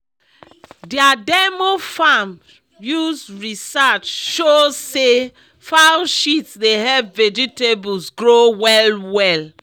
their demo farm use research show say fowl shit dey help vegetables grow well well